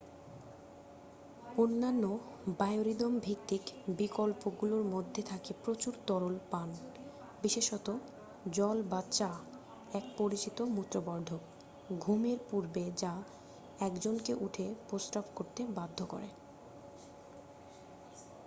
অন্যান্য বায়োরিদম-ভিত্তিক বিকল্পগুলোর মধ্যে থাকে প্রচুর তরল পান বিশেষত জল বা চা এক পরিচিত মূত্রবর্ধক ঘুমের পূর্বে যা একজনকে উঠে প্রস্রাব করতে বাধ্য করে।